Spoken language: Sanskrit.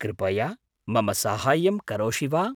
कृपया मम साहाय्यं करोषि वा?